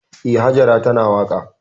Eh, Hajara tana waƙa.